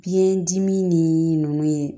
Biyɛn dimi ni nunnu ye